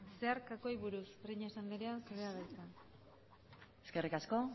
zeharkakoari buruz breñas andrea zurea da hitza eskerrik asko